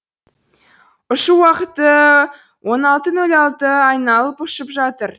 ұшу уақыты он алты нөл алты айналып ұшып жатыр